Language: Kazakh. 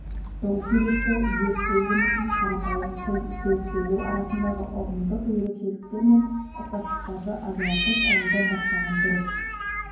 сол себепті зерттеу жұмысын қарапайым тіл сөз сөйлеу арасындағы ұғымдық ерекшеліктер мен ұқсастықтарды ажыратып алудан бастаған дұрыс